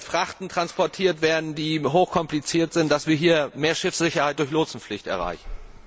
Frachten transportiert werden, die hochkompliziert sind, damit wir hier mehr Schiffssicherheit durch Lotsenpflicht erreichen.